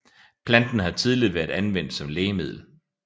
Planten har tidligere været anvendt som lægemiddel